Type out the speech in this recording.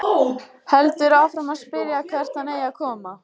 Heldur áfram að spyrja hvert hann eigi að koma.